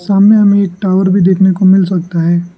सामने हमें एक टावर भी देखने को मिल सकता है।